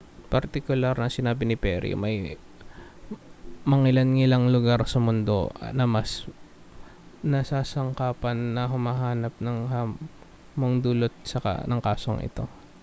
partikular na sinabi ni perry may mangilan-ngilang lugar sa mundo na mas nasasangkapan na humarap sa hamong dulot ng kasong ito